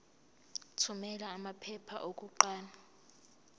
thumela amaphepha okuqala